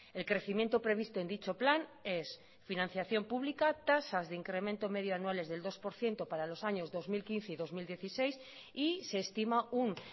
el crecimiento previsto en dicho plan es financiación pública tasas de incremento medio anuales del dos por ciento para los años dos mil quince y dos mil dieciséis y se estima un